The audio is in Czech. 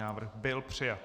Návrh byl přijat.